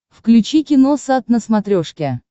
включи киносат на смотрешке